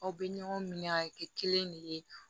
Aw bɛ ɲɔgɔn minɛ a bɛ kɛ kelen de ye